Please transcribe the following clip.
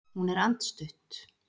Hún er andstutt.